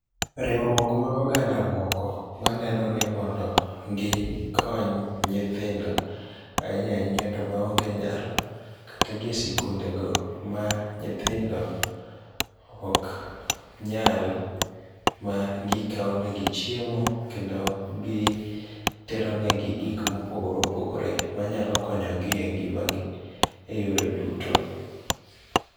Riwruok mag oganda moko manenoni mondo gi kony nyithindo. Ainya ainya to ma onge nyalo. Kata gi esikundego ma nyithindo ok nyal ma gikawonegi chiemo kendo gi teronegi gik mopogore opogore manyalo jonyogi engimagi e yore duto